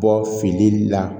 Bɔ fili la